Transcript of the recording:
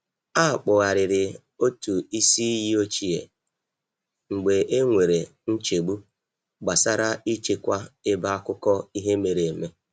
A kpugharịrị otụ isi iyi ochie mgbe e nwere nchegbu gbasara i chekwa ebe akụkọ ihe mere eme.